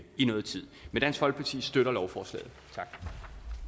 i noget tid men dansk folkeparti støtter lovforslaget